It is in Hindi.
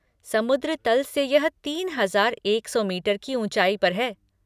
समुद्र तल से यह तीन हजार एक सौ मीटर की ऊँचाई पर है।